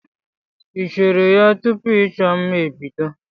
Ị cheere ya tupu ịchọ mma ebido?